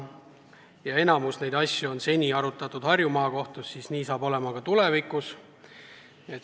Kuna enamikku neid asju on seni arutatud Harju Maakohtus, siis saab nii olema ka tulevikus.